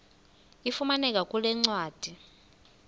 ifumaneka kule ncwadi